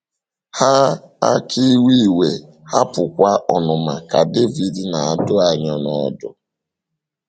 “ Haa aka iwe iwe, hapụkwa ọnụma, ” ka Devid na - adụ anyị n’ọdụ.